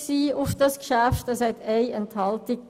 Es gab eine Enthaltung.